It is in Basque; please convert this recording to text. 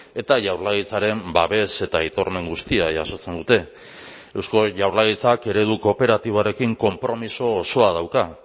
eta jaurlaritzaren babes eta aitormen guztia jasotzen dute eusko jaurlaritzak eredu kooperatiboarekin konpromiso osoa dauka